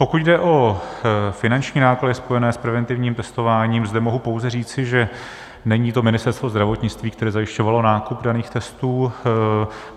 Pokud jde o finanční náklady spojené s preventivním testováním, zde mohu pouze říci, že není to Ministerstvo zdravotnictví, které zajišťovalo nákup daných testů.